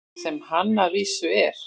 Sem hann að vísu er.